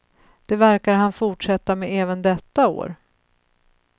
Det verkar han fortsätta med även detta år.